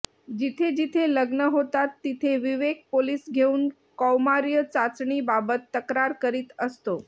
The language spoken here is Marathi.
जिथेजिथे लग्न होतात तिथे विवेक पोलीस घेऊन कौमार्य चाचणी बाबत तक्रार करीत असतो